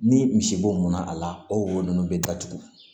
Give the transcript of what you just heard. Ni misibo mɔnna a la o wo nunnu be datugu